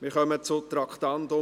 Wir kommen zum Traktandum 36.